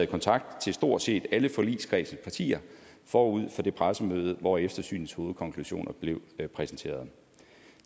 kontakt til stort set alle forligskredsens partier forud for det pressemøde hvor eftersynets hovedkonklusioner blev præsenteret